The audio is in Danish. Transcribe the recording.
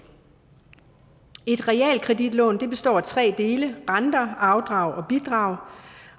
et realkreditlån består af tre dele renter afdrag og bidrag